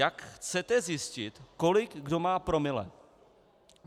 Jak chcete zjistit, kolik kdo má promile?